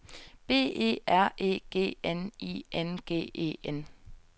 B E R E G N I N G E N